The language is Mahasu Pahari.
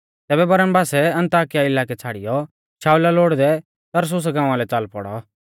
तैबै बरनबासै अन्ताकिया इलाकै छ़ाड़ीयौ शाऊला लोड़दै तरसुसा गांवा लै च़ाल पौड़ौ